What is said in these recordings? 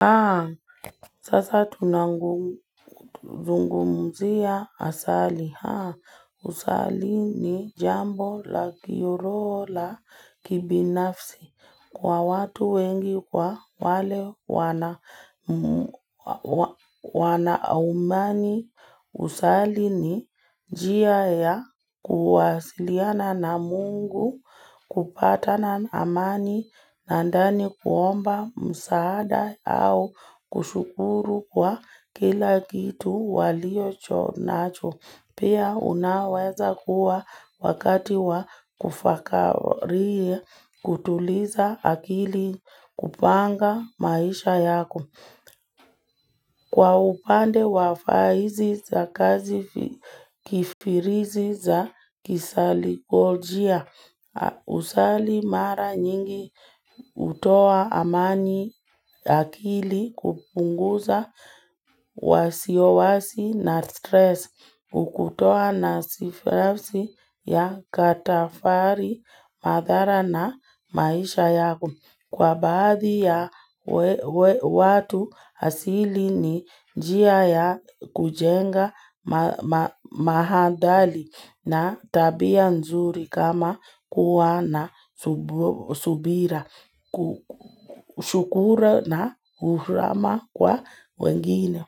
Haa sasa tunangu zungumzia asali haa husali ni jambo la kiuroho la kibinafsi kwa watu wengi kwa wale wana wanaumani Kusali ni njia ya kuwasiliana na mungu kupata na amani na ndani kuomba msaada au kushukuru kwa kila kitu waliocho nacho. Pia unaweza kuwa wakati wa kufakarii kutuliza akili kupanga maisha yako. Kwa upande wa fahizi za kazi kifirizi za kisali pojia usali mara nyingi utoa amani akili kupunguza wasiwasi na stress hukutoa nasifafsi ya katafari madhara na maisha yako. Kwa baadhi ya watu hasili ni njia ya kujenga mahadali na tabia nzuri kama kuwa na subira, kushukuru na uhrama kwa wengine.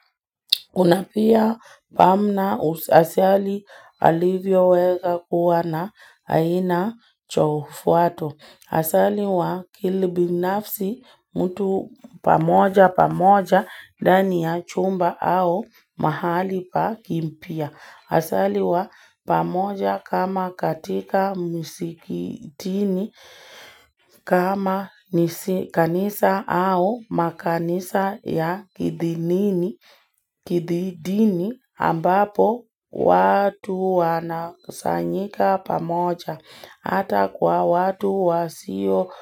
Unapia pamna asali alivyoweza kuwa na aina cha ufuato. Asali wa kilibinafsi mtu pamoja pamoja ndani ya chumba au mahali pa kimpia. Asaliwa pamoja kama katika musikitini kama ni kanisa au makanisa ya kidhidini ambapo watu wanasanyika pamoja. Hata kwa watu wasio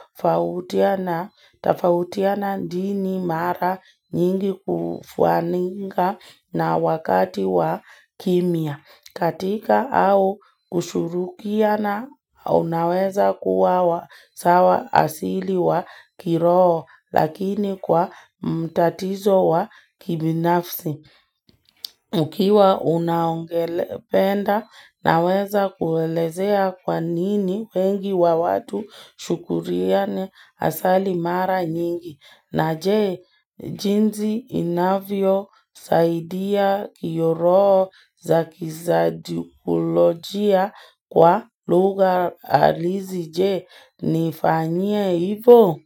tafautiana dini mara nyingi kufuaninga na wakati wa kimia. Katika au kushurukiana unaweza kuwa sawa asili wa kiroho lakini kwa mtatizo wa kibinafsi. Ukiwa unaongelependa naweza kuwalezea kwanini wengi wa watu shukuriane asali mara nyingi na je jinzi inavyosaidia kiroho za kizadukulogia kwa lugha halisi je, nifanyia hivo?